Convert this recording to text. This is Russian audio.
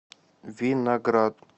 виноград